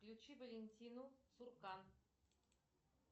включи валентину цуркан